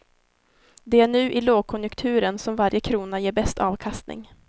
Det är nu i lågkonjunkturen som varje krona ger bäst avkastning.